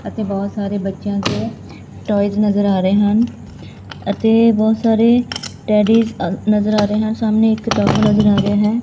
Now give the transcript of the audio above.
ਅਤੇ ਬਹੁਤ ਸਾਰੇ ਬੱਚਿਆਂ ਦੇ ਟੋਇਜ਼ ਨਜ਼ਰ ਆ ਰਹੇ ਹਨ ਅਤੇ ਬਹੁਤ ਸਾਰੇ ਅ ਟੈਡੀਜ਼ ਨਜ਼ਰ ਆ ਰਹੇ ਹਨ ਸਾਹਮਣੇ ਇੱਕ ਨਜ਼ਰ ਆ ਰਿਹਾ ਹੈ।